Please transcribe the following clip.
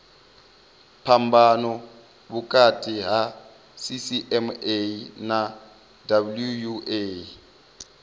phambano vhukati ha cma na wua